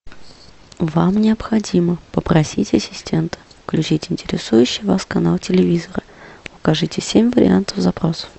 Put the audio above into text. вам необходимо попросить ассистента включить интересующий вас канал телевизора покажите семь вариантов запроса